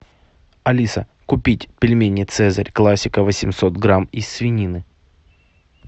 алиса купить пельмени цезарь классика восемьсот грамм из свинины